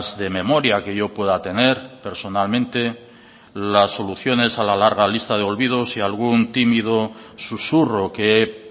de memoria que yo pueda tener personalmente las soluciones a la larga lista de olvidos y algún tímido susurro que he